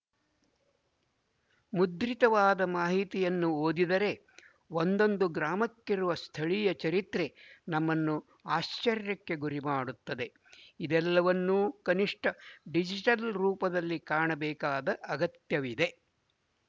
ಮುದ್ರಿತವಾದ ಮಾಹಿತಿಯನ್ನು ಓದಿದರೆ ಒಂದೊಂದು ಗ್ರಾಮಕ್ಕಿರುವ ಸ್ಥಳೀಯ ಚರಿತ್ರೆ ನಮ್ಮನ್ನು ಆಶ್ಚರ್ಯಕ್ಕೆ ಗುರಿಮಾಡುತ್ತದೆ ಇವೆಲ್ಲವನ್ನು ಕನಿಶ್ಠ ಡಿಜಿಟಲ್ ರೂಪದಲ್ಲಿ ಕಾಪಾಡಬೇಕಾದ ಅಗತ್ಯವಿದೆ